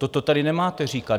Toto tady nemáte říkat.